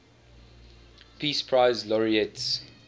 peace prize laureates